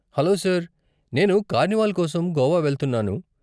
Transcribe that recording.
Hello sir, నేను carnival కోసం గోవా వెళ్తున్నాను.